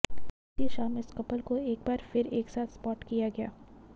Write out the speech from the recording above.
बीती शाम इस कपल को एक बार फिर एक साथ स्पाॅट किया गया